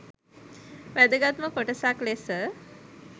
වැදගත්ම කොටසක් ලෙස